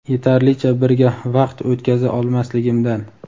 yetarlicha birga vaqt o‘tkaza olmasligimdan.